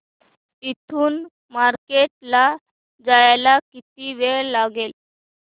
इथून मार्केट ला जायला किती वेळ लागेल